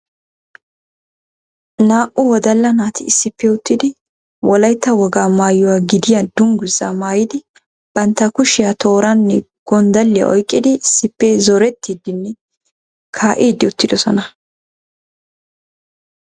Naa"u wodala naati issippe uttidi wolaytta woga maayyuwaa gidiyaa dungguzaa maayyidi bantta kushiyaa tooranne gonddaliya oyqqidi issippe zoretiidinne kaa'idi uttidoosona.